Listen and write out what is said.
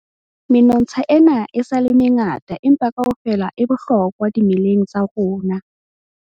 Menontsha ena e sa le mengata empa kaofela e bohlokwa dimeleng tsa rona.